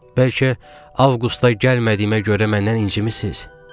Bəlkə avqustda gəlmədiyimə görə məndən incimisiz?